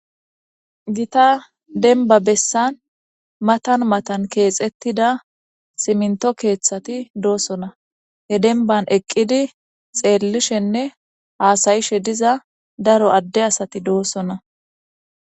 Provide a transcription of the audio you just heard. gita denba bessan matan matan keexettida siminto keeththati doosona he denban eqqidi xeellishenne haasayishe diza daro adde asati doossona